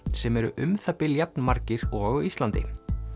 sem eru um það bil jafn margir og á Íslandi